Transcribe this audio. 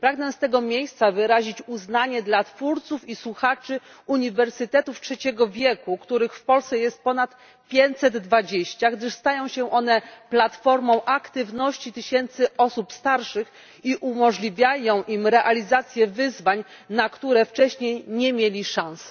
Pragnę z tego miejsca wyrazić uznanie dla twórców i słuchaczy uniwersytetów trzeciego wieku, których w Polsce jest ponad pięćset dwadzieścia, gdyż stają się one platformą aktywności tysięcy osób starszych i umożliwiają im realizację wyzwań, na które wcześniej nie miały szans.